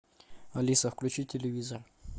алиса включи телевизор